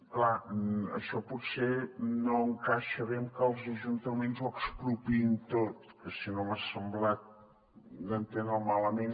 és clar això potser no encaixa bé amb que els ajuntaments ho expropiïn tot que si no m’ha semblat entendre ho malament